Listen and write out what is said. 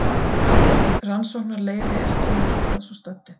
Rannsóknarleyfi ekki nýtt að svo stöddu